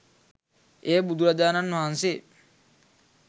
එය බුදුරජාණන් වහන්සේ